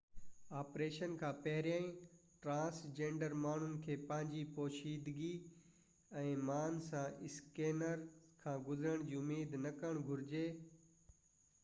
operation کان پهرين transgender ماڻهن کي پنهنجي پوشيدگي ۽ مان سان اسڪينرز کان گذرڻ جي اميد نہ ڪرڻ گهرجي